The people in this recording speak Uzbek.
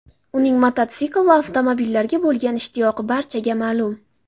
Uning mototsikl va avtomobillarga bo‘lgan ishtiyoqi barchaga ma’lum.